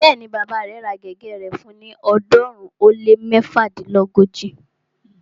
Bẹ́ẹ̀ni, bàbá rẹ̀ ra gègé rẹ̀ fún ni ọ̀ọ́dúnrún ó lé méfadínlógóji